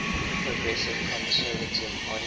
progressive conservative party